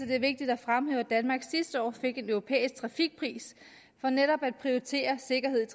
det er vigtigt at fremhæve at danmark sidste år fik en europæisk trafikpris for netop at prioritere sikkerheden